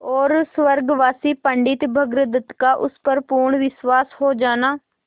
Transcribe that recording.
और स्वर्गवासी पंडित भृगुदत्त का उस पर पूर्ण विश्वास हो जाना